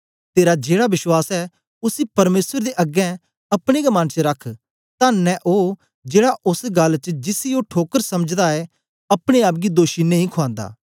तेरा जेड़ा विश्वास ऐ उसी परमेसर दे अगें अपने गै मन च रख तन्न ऐ ओ जेड़ा ओस गल्ल च जिसी ओ ठीक समझदा ऐ अपने आप गी दोषी नेई खुआन्दा